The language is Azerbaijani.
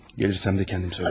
Gəlsəm də özüm deyərəm.